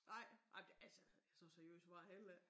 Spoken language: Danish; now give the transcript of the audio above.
Nej nej men det altså så seriøst var jeg heller ik